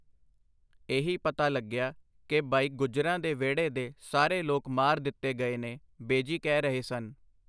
ਇਹੀ ਪਤਾ ਲੱਗਿਆ ਕਿ ਬਈ ਗੁੱਜਰਾਂ ਦੇ ਵਿਹੜੇ ਦੇ ਸਾਰੇ ਲੋਕ ਮਾਰ ਦਿੱਤੇ ਗਏ ਨੇ, ਬੇਜੀ ਕਹਿ ਰਹੇ ਸਨ.